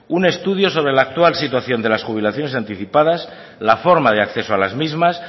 un estudio sobre el actual situación de las jubilaciones anticipadas la forma de acceso de las misma